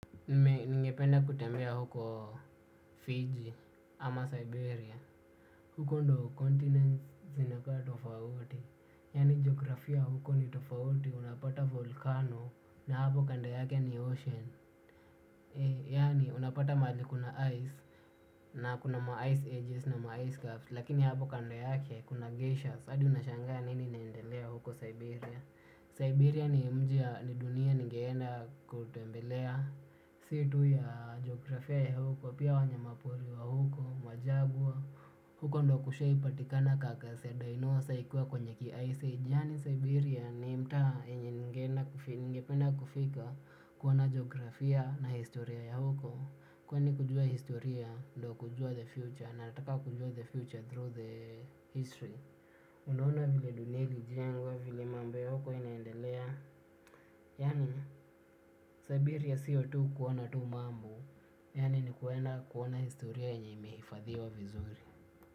Mimi ningependa kutembea huko. Fiji ama Siberia. Huko ndo 'continent' zinakaa tofauti. Yaani geografia huko ni tofauti. Unapata volkano, na hapo kando yake ni ocean. Yaani unapata mahali kuna 'ice' na kuna ma 'ice ages' na ma 'ice caps'. Lakini hapo kando yake kuna 'glacier'. Sa hadi unashangaa nini inendelea huko Siberia. Siberia ni mji na ni dunia ningeenda kutembelea. Si tu ya geografia ya huko. Pia wanyama pori wa huko. Majaguar. Huko ndo kushai patikana 'carcass ya dinosaur' ikiwa kwenye ki ice age. Yaani Siberia ni mtaa yenye ningeenda nigependa kufika. Kuona geografia na historia ya huko. Kwani kujua historia ndio kujua 'the future'. Na nataka kujua the 'future through the history'. Unaona vile dunia ilijengwa, vile mambo ya huko inaendelea. Yaani Siberia sio tu kuona tu mambo. Yaani ni kwenda kuona historia yenye imeifadhiwa vizuri.